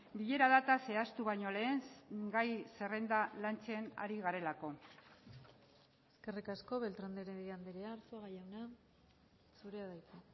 bilera data zehaztu baino lehen gai zerrenda lantzen ari garelako eskerrik asko beltrán de heredia andrea arzuaga jauna zurea da hitza